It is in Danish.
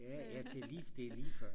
ja det er lige før